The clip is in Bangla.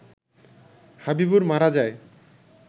হাবিবুর মারা যায